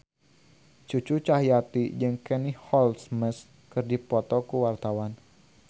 Cucu Cahyati jeung Katie Holmes keur dipoto ku wartawan